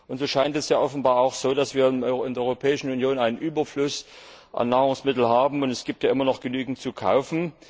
Und so scheint es ja auch offenbar so, dass wir in der Europäischen Union einen Überfluss an Nahrungsmitteln haben, und es gibt ja immer noch genügend zu kaufen.